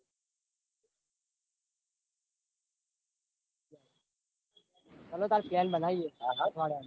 Hello તન plan બનાઇએ. હા હા .